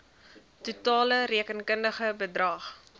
totale rekenkundige bedrag